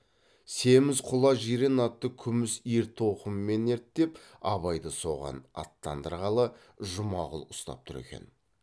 семіз құла жирен атты күміс ертоқыммен ерттеп абайды соған аттандырғалы жұмағұл ұстап тұр екен